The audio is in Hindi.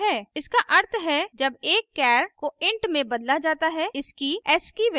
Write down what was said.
इसका अर्थ है जब एक char को int में बदला जाता है इसकी ascii ascii value को stored किया जाता है